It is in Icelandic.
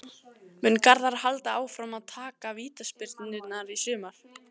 Mun Garðar halda áfram að taka vítaspyrnurnar í sumar?